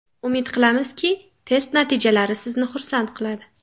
Umid qilamizki, test natijalari sizni xursand qiladi.